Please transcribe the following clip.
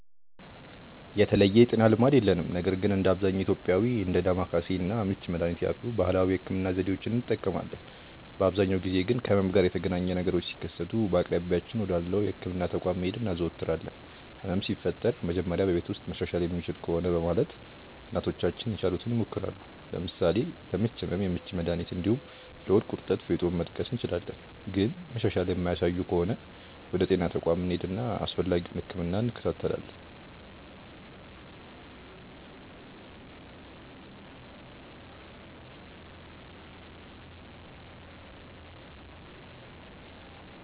የተለየ የጤና ልማድ የለንም ነገር ግን እንደ አብዛኛው ኢትዮጵያዊ እንደ ዳማከሴ እና ምች መድሀኒት ያሉ ባህላዊ የህክምና ዘዴዎችን እንጠቀማለን። በአብዛኛው ጊዜ ግን ከህመም ጋር የተገናኘ ነገሮች ሲከሰቱ በአቅራቢያችን ወዳለው የህክምና ተቋም መሄድ እናዘወትራለን። ህመም ሲፈጠር መጀመሪያ በቤት ውስጥ መሻሻል የሚችል ከሆነ በማለት እናቶቻችን የቻሉትን ይሞክራሉ። ለምሳሌ ለምች ህመም የምች መድሀኒት እንዲሁም ለሆድ ቁርጠት ፌጦን መጥቀስ እንችላለን። ግን መሻሻል የማያሳዩ ከሆነ ወደ ጤና ተቋም እንሄድና አስፈላጊውን ህክምና እንከታተላለን።